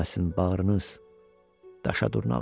Dönməsin bağrınız daşa durnalar.